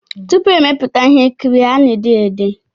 Tupu e mepụta ihe nkiri a na-ede ya ede